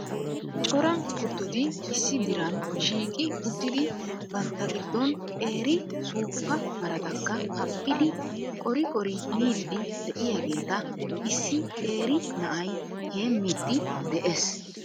Cora kuttoti issi diran shiiqi uttidi bantta giddon qeeri suuppa maratakka haphphidi qori qori miidi de'iyaageeta issi qeeri na'ay heemiidi de'ees.